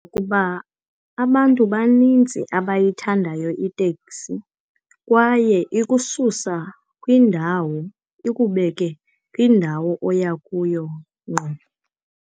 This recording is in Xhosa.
Kuba abantu banintsi abayithandayo iteksi kwaye ikususa kwindawo, ikubeke kwindawo oya kuyo ngqo.